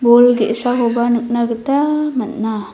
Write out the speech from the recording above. bol ge·sakoba nikna gita man·a.